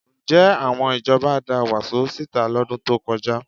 Ǹjẹ́ àwọn ìjọba da wàsó síta lọ́dún tó kọjá?